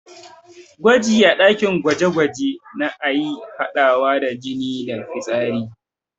Gwaji a ɗakin gwaje-gwaje na iya haɗawa da jini da fitsari.